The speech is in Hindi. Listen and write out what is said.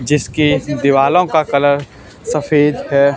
जिसकी दीवालों का कलर सफेद है।